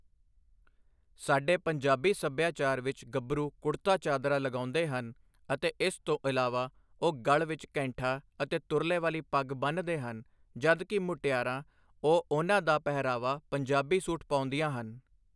ਸਾਡੇ ਪੰਜਾਬੀ ਸੱਭਿਆਚਾਰ ਵਿੱਚ ਗੱਭਰੂ ਕੁੜਤਾ ਚਾਦਰਾ ਲਗਾਉਂਦੇ ਹਨ ਅਤੇ ਇਸ ਤੋਂ ਇਲਾਵਾ ਉਹ ਗਲ਼ ਵਿੱਚ ਕੈਂਠਾ ਅਤੇ ਤੁਰਲੇ ਵਾਲੀ ਪੱਗ ਬੰਨਦੇ ਹਨ ਜਦ ਕਿ ਮੁਟਿਆਰਾਂ ਉਹ ਉਹਨਾਂ ਦਾ ਪਹਿਰਾਵਾ ਪੰਜਾਬੀ ਸੂਟ ਪਾਉਂਦੀਆਂ ਹਨ।